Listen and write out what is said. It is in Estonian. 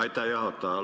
Aitäh, juhataja!